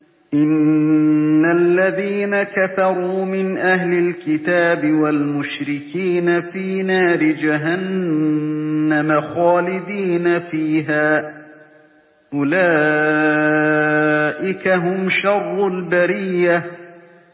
إِنَّ الَّذِينَ كَفَرُوا مِنْ أَهْلِ الْكِتَابِ وَالْمُشْرِكِينَ فِي نَارِ جَهَنَّمَ خَالِدِينَ فِيهَا ۚ أُولَٰئِكَ هُمْ شَرُّ الْبَرِيَّةِ